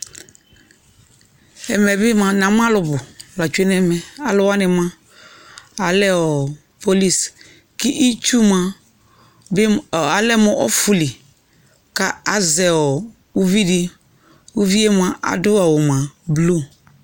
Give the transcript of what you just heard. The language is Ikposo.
Ɛmɛ bɩ mʋa n'amʋ alʋ nʋ ta tsue n'ɛmɛ Alʋwanɩ mʋa alɛ ɔɔɔ police k'ltsu mʋa bɩ m alɛ mʋ ɔfʋli ka azɛ ɔɔ uvidɩ, uvi yɛ mʋa adʋ awʋ mʋa blu